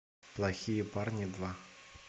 плохие парни два